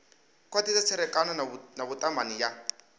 khwathisa tserekano na vhutumani ya